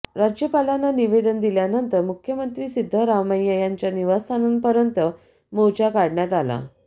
राज्यपालांना निवेदन दिल्यानंतर मुख्यमंत्री सिद्धरामय्या यांच्या निवासस्थानापर्यंत मोर्चा काढण्यात आला